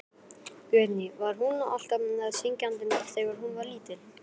Guðný: Var hún alltaf syngjandi þegar hún var lítil?